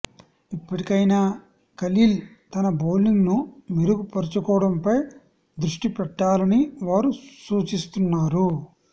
ఇప్పటికైనా ఖలీల్ తన బౌలింగ్ను మెరుగు పరుచుకోవడంపై దృష్టి పెట్టాలని వారు సూచిస్తున్నారు